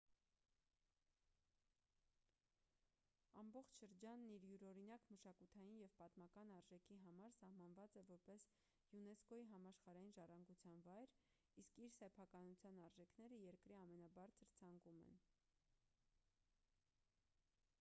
ամբողջ շրջանն իր յուրօրինակ մշակութային և պատմական արժեքի համար սահմանված է որպես յունեսկօ-ի համաշխարհային ժառանգության վայր իսկ իր սեփականության արժեքները երկրի ամենաբարձր ցանկում են